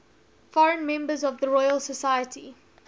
foreign members of the royal society